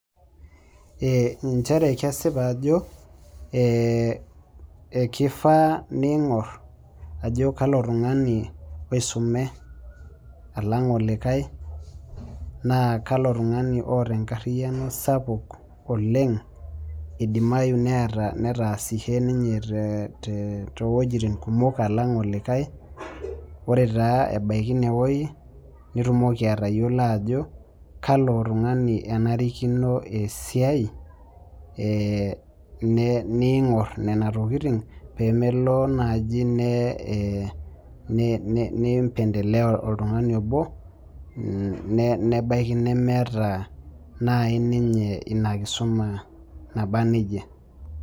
Ee nchere ajo kesipa ajo kifaa ningor ajo kalo tungani oisume alang olikae na kalo tungani oata enkariano sapuk oleng edimayu netaasishe ninye towoitin kumok qlang olikae ,ore taa ebaki inewueji nitumoki atayiolo ajo kalo tungani enarikini esiai ningor nona tokitin pemelo nai nipendelea oltungani nebaki nemeeta nai ninye inakisuma naba nejia.